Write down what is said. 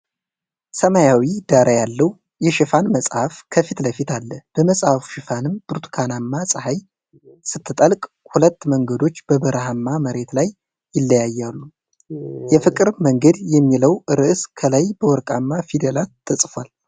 ሰማያዊ ዳራ ያለው የሽፋን መጽሐፍ ከፊት ለፊት አለ። በመጽሐፉ ሽፋንም ብርቱካናማ ፀሐይ ስትጠልቅ ሁለት መንገዶች በበረሃማ መሬት ላይ ይለያያሉ። "የፍቅር መንገድ" የሚለው ርዕስ ከላይ በወርቃማ ፊደላት ተጽፏል።